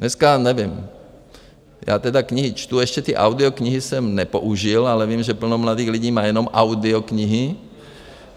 Dneska nevím, já tedy knihy čtu, ještě ty audioknihy jsem nepoužil, ale vím, že plno mladých lidí má jenom audioknihy.